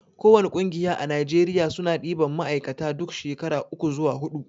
ko wani ƙungiya a najeriya suna ɗiban ma'aikata duk shekara uku zuwa huɗu